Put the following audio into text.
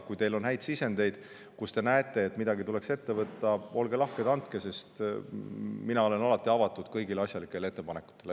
Kui teil on häid sisendeid ja kui te näete, et kuskil tuleks midagi ette võtta, siis olge lahked ja andke sellest teada, sest mina olen alati avatud kõigile asjalikele ettepanekutele.